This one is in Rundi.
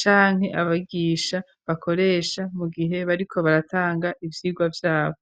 canke abagisha bakoresha mu gihe bariko baratanga ivyigwa vyabo.